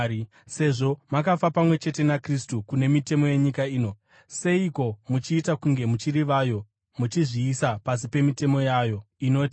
Sezvo makafa pamwe chete naKristu kune mitemo yenyika ino, seiko muchiita kunge muchiri vayo, muchizviisa pasi pemitemo yayo inoti: